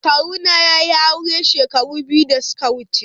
Kawuna ya yi aure shekara biyu da suka wuce.